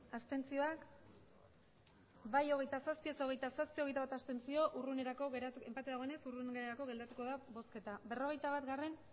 abstenzioak emandako botoak hirurogeita hamabost bai hogeita zazpi ez hogeita zazpi abstentzioak hogeita bat enpate dagoenez hurrengorako geratuko da bozketa berrogeita batgarrena